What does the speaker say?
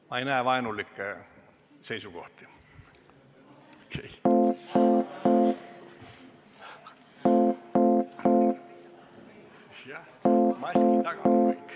Ma ei näe vaenulikke seisukohti.